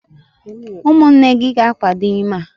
umunne gi ga-akwado ime a?